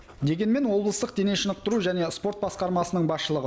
дегенмен облыстық дене шынықтыру және спорт басқармасының басшылығы